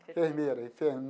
Enfermeira